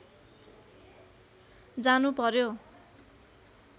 जानु पर्‍यो